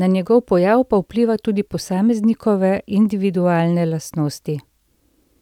na njegov pojav pa vplivajo tudi posameznikove individualne lastnosti.